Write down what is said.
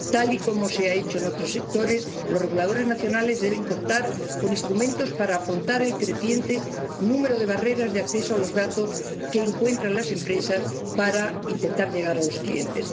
Tal y como se ha hecho en otros sectores, los reguladores nacionales deben contar con instrumentos para afrontar el creciente número de barreras para el acceso a los datos que encuentran las empresas para intentar llegar a los clientes.